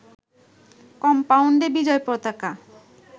কম্পাউন্ডে বিজয় পতাকা